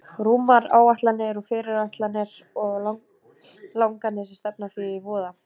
Rúmar áætlanir og fyrirætlanir og langanir sem stefna því í voða.